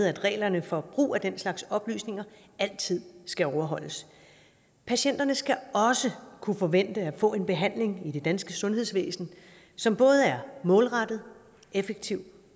at reglerne for brug af den slags oplysninger altid skal overholdes patienterne skal også kunne forvente at få en behandling i det danske sundhedsvæsen som både er målrettet effektiv